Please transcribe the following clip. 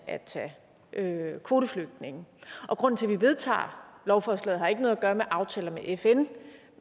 at tage kvoteflygtninge og grunden til at vi vedtager lovforslaget har ikke noget at gøre med aftaler med fn